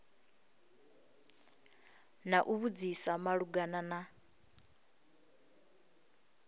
na u vhudzisa malugana na